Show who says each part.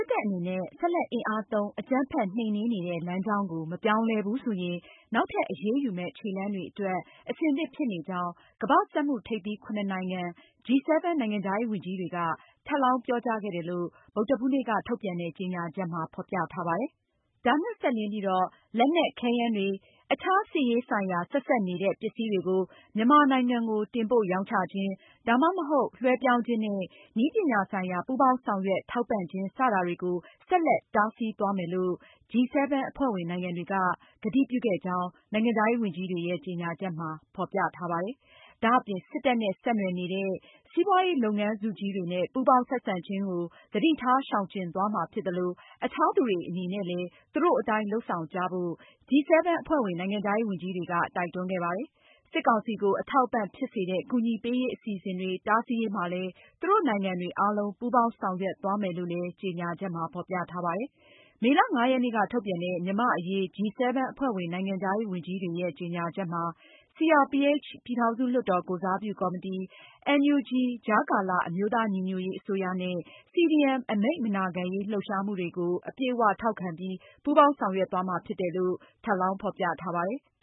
Speaker 1: စ်တပ်အနေနဲ့ ဆက်လက်အင်အားသုံး အကြမ်းဖက်နှိမ်နင်းနေတဲ့ လမ်းကြောင်း ကို မပြောင်းလဲဘူးဆိုရင် နောက်ထပ်အရေးယူမယ့် ခြေလှမ်းတွေအတွက် အဆင်သင့်ဖြစ် နေကြောင်းကမ္ဘာ့စက်မှုထိပ်သီး ၇နိုင်ငံ G-7 နိုင်ငံခြားရေး ဝန်ကြီးတွေက ထပ်လောင်းပြောကြားခဲ့တယ်လို့ ဗုဒ္ဓဟူးနေ့က ထုတ်ပြန်တဲ့ကြေညာချက်မှာ ဖေါ်ပြထားပါတယ်။ ဒါနဲ့ စပ်လျဉ်းပြီးတော့ လက်နက်၊ခဲယမ်းတွေနဲ့ အခြားစစ်ရေးဆိုင်ရာ ဆက်စပ်နေတဲ့ ပစ္စည်းတွေကို မြန်မာနိုင်ငံကို တင်ပို့ရောင်းချခြင်း၊ ဒါမှမဟုတ် လွဲှပြောင်းခြင်းနဲ့ နည်းပညာဆိုင်ရာ ပူးပေါင်းဆောင်ရွက် ထောက်ပံ့ခြင်း စတာတွေကို ဆက်လက်တားဆီးသွားမယ်လို့ G-7 အဖွဲ့ဝင်နိုင်ငံတွေက ကတိပြုခဲ့ကြောင်း နိုင်ငံခြားရေးဝန်ကြီးတွေရဲ့ ကြေညာချက်မှာ ဖေါ်ပြထားပါတယ်။ ဒါအပြင် စစ်တပ်နဲ့ ဆက်နွယ်နေတဲ့ စီးပွားရေးလုပ်ငန်းစုကြီးတွေနဲ့ ပူးပေါင်းဆက်ဆံခြင်းကို သတိထားရှောင်ကျဉ်မှာဖြစ်သလို အခြားသူတွေအနေနဲ့လည်း သူတို့အတိုင်း လုပ်ဆောင်ကြဖို့ G-7 အဖွဲ့ဝင် နိုင်ငံခြားရေးဝန်ကြီးတွေက တိုက်တွန်းခဲ့ပါတယ်။ စစ်ကောင်စီကို အထောက်အပံ့ဖြစ်စေတဲ့ ကူညီပေးရေးအစီအစဉ်တွေတားဆီးရေးမှာလည်း သူတို့နိုင်ငံတွေအားလုံး ပူးပေါင်းဆောင်ရွက်သွားမယ်လို့ ကြေညာချက်မှာ ဖေါ်ပြထားပါတယ်။ မေလ (၅)ရက်နေ့က ထုတ်ပြန်တဲ့ မြန်မာ့အရေး G-7 အဖွဲ့ဝင် နိုင်ငံခြားရေးဝန်ကြီးတွေရဲ့ ကြေညာချက်မှာ- CRPH ပြည်ထောင်စုလွှတ်တော်ကိုယ်စားပြုကော်မတီ၊ NUG ကြားကာလ အမျိုးသားညီညွတ်ရေး အစိုးရနဲ့CDM အမိန့်မနာခံရေးလှုပ်ရှားမှုတွေကို အပြည့်အဝထောက်ခံပြီး ပူးပေါင်းဆောင်ရွက်သွားမှာ ဖြစ်တယ်လု့ိ ထပ်လောင်း ဖေါ်ပြထားပါတယ်။